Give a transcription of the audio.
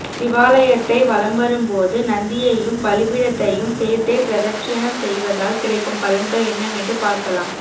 சிவாலயத்தை வலம்வரும்போது நந்தியையும் பலிபீடத்தையும் சேர்த்தே பிரதட்சிணம் செய்வதால் கிடைக்கும் பலன்கள் என்னவென்று பார்க்கலாம்